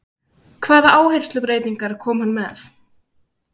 Hvaða áherslubreytingar kom hann með?